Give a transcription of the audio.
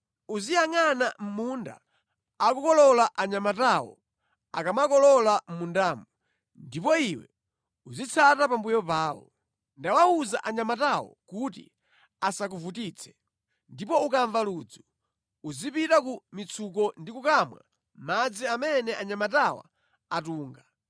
Uziyangʼana munda akukolola anyamatawo akamakolola mʼmundamu, ndipo iwe uzitsata pambuyo pawo. Ndawawuza anyamatawo kuti asakuvutitse. Ndipo ukamva ludzu, uzipita ku mitsuko ndi kukamwa madzi amene anyamatawa atunga.”